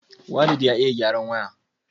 waleed ya iya gyaran waya